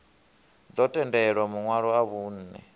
ḓo tendelwa maṋwalo a vhunṋe